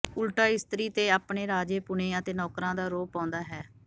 ਉਲਟਾ ਇਸਤਰੀ ਤੇ ਆਪਣੇ ਰਾਜੇ ਪੁਣੇ ਅਤੇ ਨੌਕਰਾਂ ਦਾ ਰੋਹਬ ਪਾਉਂਦਾ ਹੈ